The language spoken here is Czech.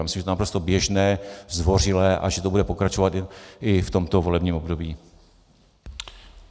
Myslím, že je to naprosto běžné, zdvořilé a že to bude pokračovat i v tomto volebním období.